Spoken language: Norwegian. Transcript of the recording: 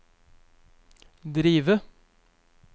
drive